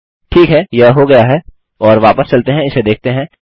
ठीक है यह हो गया है और वापस चलते हैं और इसे देखते हैं